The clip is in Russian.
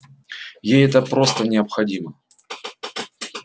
ей это просто необходимо